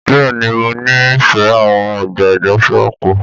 Bẹ́ẹ̀ ni, mo nífẹ̀ẹ́ àwọn ọgbà ìgbafẹ́ àpò